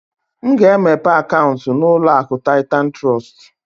M ga-emepe akaunti na uloaku Titan Trust?